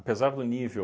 Apesar do nível